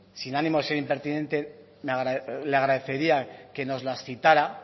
sin ánimo de ser impertinente le agradecería que nos las citara